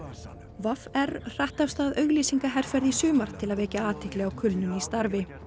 v r hratt af stað auglýsingaherferð í sumar til að vekja athygli á kulnun í starfi